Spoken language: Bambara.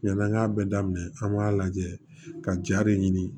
Ɲɛna an k'a bɛɛ daminɛ an b'a lajɛ ka ja de ɲini